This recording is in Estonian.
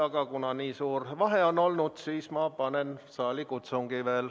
Aga kuna nii suur vahe on olnud, siis ma teen veel saalikutsungi.